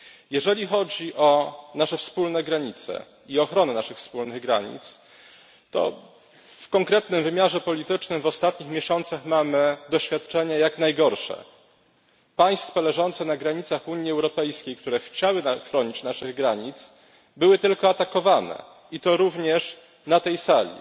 Jeżeli chodzi o nasze wspólne granice i ochronę naszych wspólnych granic, to w konkretnym wymiarze politycznym w ostatnich miesiącach mamy doświadczenia jak najgorsze. Państwa leżące na granicach Unii Europejskiej, które chciały chronić naszych granic, były tylko atakowane, i to również na tej sali